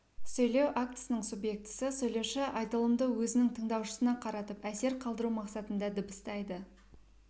сөйлеу актісінің субъектісі сөйлеуші айтылымды өзінің тыңдаушысына қаратып әсер қалдыру мақсатында дыбыстайды